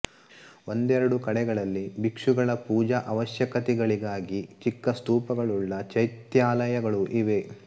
ಒಂದೆರಡು ಕಡೆಗಳಲ್ಲಿ ಭಿಕ್ಷುಗಳ ಪೂಜಾ ಅವಶ್ಯಕತೆಗಳಿಗಾಗಿ ಚಿಕ್ಕ ಸ್ತೂಪಗಳುಳ್ಳ ಚೈತ್ಯಾಲಯಗಳೂ ಇವೆ